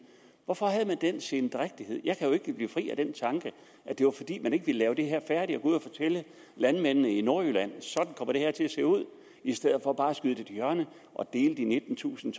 hvorfor havde man den sendrægtighed jeg kan jo ikke blive fri af den tanke at det var fordi man ikke ville lave det her færdig ud og fortælle landmændene i nordjylland sådan kommer det her til at se ud i stedet for bare at skyde det til hjørne og dele de nittentusind